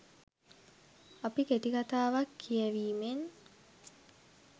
අපි කෙටිකතාවක් කියැවීමෙන්